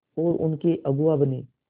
और उनके अगुआ बने